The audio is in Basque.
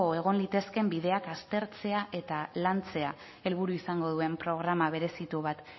egon litezkeen bideak aztertzea eta lantzea helburu izango duen programa berezitu bat